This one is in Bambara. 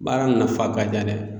Baara nafa ka ca dɛ